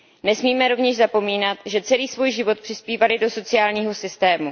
Nesmíme rovněž zapomínat, že celý svůj život přispívali do sociálního systému.